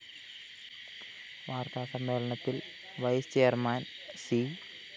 വാര്‍ത്താസമ്മേളനത്തില്‍ vice chairman C